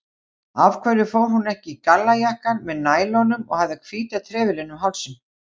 Af hverju fór hún ekki í gallajakkann með nælunum og hafði hvíta trefilinn um hálsinn?